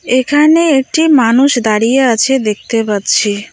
এখানে একটি মানুষ দাঁড়িয়ে আছে দেখতে পাচ্ছি।